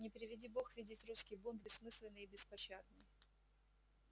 не приведи бог видеть русский бунт бессмысленный и беспощадный